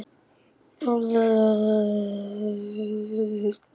Hólmgeir, hvenær kemur sjöan?